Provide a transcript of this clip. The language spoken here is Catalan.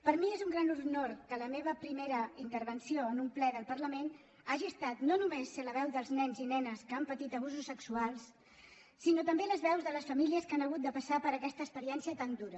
per mi és un gran honor que la meva primera intervenció en un ple del parlament hagi estat no només ser la veu dels nens i nenes que han patit abusos sexuals sinó també les veus de les famílies que han hagut de passar per aquesta experiència tan dura